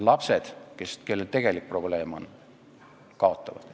Lapsed, kellel tegelik probleem on, kaotavad.